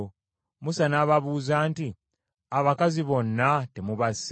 Musa n’ababuuza nti, “Abakazi bonna temubasse?